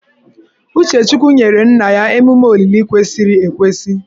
Uchechukwu nyere nna ya emume olili kwesịrị ekwesị